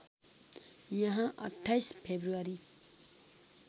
यहाँ २८ फ्रेब्रुवरी